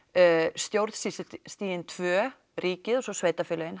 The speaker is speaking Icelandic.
stjórnsýslustigin tvö ríkið og svo sveitafélögin